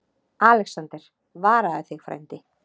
ALEXANDER: Varaðu þig, frændi.